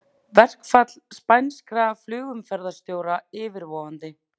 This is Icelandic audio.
Verkfall spænskra flugumferðarstjóra yfirvofandi